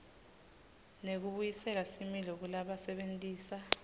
nekubuyisela similo kulabasebentisa